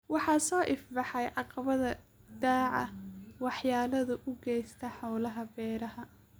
Waxaa soo ifbaxaya caqabadaha daaqa waxyeellada u geysta hawlaha beeraha.